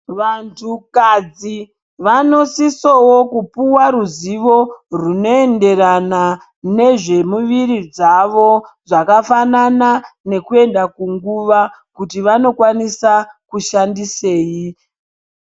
Vantukadzi vanosisawo kupiwa ruzivo rinoenderana nezvemuviri dzavo zvakafanana nekuenda kunguva kuti vanokwanisa kushandisei.